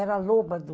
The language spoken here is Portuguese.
Era a loba do...